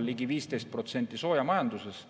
ligi 15% soojamajanduses.